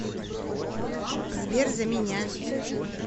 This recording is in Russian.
сбер за меня